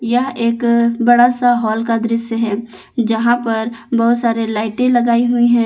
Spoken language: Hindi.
यह एक बड़ा सा हॉल का दृश्य है जहां पर बहोत सारे लाइटें लगाई हुई हैं।